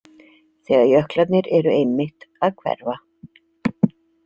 Þegar jöklarnir eru einmitt að hverfa.